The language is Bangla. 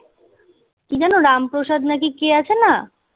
কী যেন রামপ্রসাদ না কী কে আছে না?